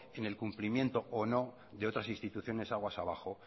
en el incumplimiento o no de otras instituciones aguas abajo